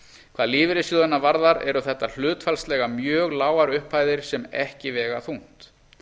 hvað lífeyrissjóðina varðar eru þetta hlutfallslega mjög lágar upphæðir sem ekki vega þungt